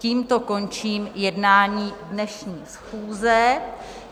Tímto končím jednání dnešní schůze.